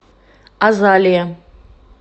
азалия